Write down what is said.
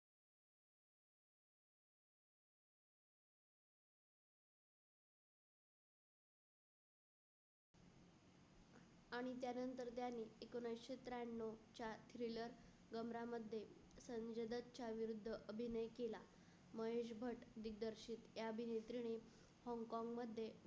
आणि त्यानंतर त्यांनी एकोणऐंशी त्र्याण्णव च्या च्या खिलर गमरा मध्ये संजय दत्त चा विरुद्ध अभिनय केला. महेश भट दिदर सीत या अभिनेत्रीने होंगकोंग मध्ये